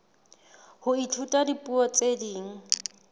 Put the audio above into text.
ho ithuta dipuo tse ding